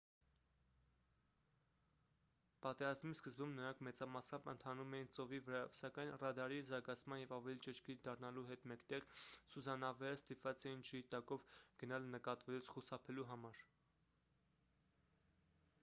պատերազմի սկզբում նրանք մեծամասամբ ընթանում էին ծովի վրայով սակայն ռադարի զարգացման և ավելի ճշգրիտ դառնալու հետ մեկտեղ սուզանավերը ստիպված էին ջրի տակով գնալ նկատվելուց խուսափելու համար